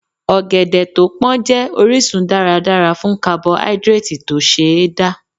Ọ̀gẹ̀dẹ̀ tó pón jẹ́ orísun dáradára fún kabohídírátì tó ṣe é dá.